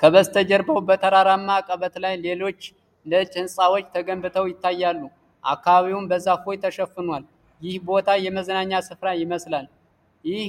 ከበስተጀርባው በተራራማ አቀበት ላይ፣ ሌሎች ነጭ ሕንፃዎች ተገንብተው ይታያሉ፣ አካባቢውም በዛፎች ተሸፍኗል። ይህ ቦታ የመዝናኛ ስፍራ ይመስላል። ይህ